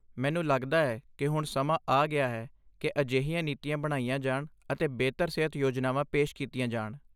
ਮੈਨੂੰ ਲੱਗਦਾ ਹੈ ਕਿ ਹੁਣ ਸਮਾਂ ਆ ਗਿਆ ਹੈ ਕਿ ਅਜਿਹੀਆਂ ਨੀਤੀਆਂ ਬਣਾਈਆਂ ਜਾਣ ਅਤੇ ਬਿਹਤਰ ਸਿਹਤ ਯੋਜਨਾਵਾਂ ਪੇਸ਼ ਕੀਤੀਆਂ ਜਾਣ।